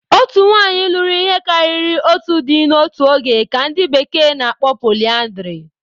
Otu nwanyị lụrụ ihe karịrị otu di n'otu oge ka ndi bekee n'akpo polyandry